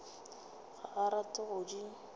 ga a rate go di